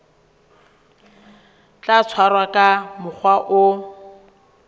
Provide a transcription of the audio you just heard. tla tshwarwa ka mokgwa o